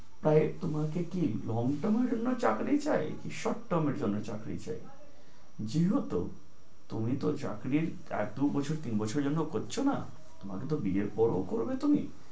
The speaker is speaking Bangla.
তাই তোমাকে কি long term এর জন্য চাকরি চাই নাকি short term এর জন্য চাকরি? যেহেতু তুমি তো চাকরির এক-দুই বছর তিন বছরের জন্য করছো না, তোমাকে তো বিয়ের পরও করবে তুমি